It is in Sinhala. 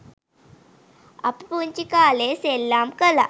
අපි පුංචි කාලේ ​සෙල්ලම් කලා.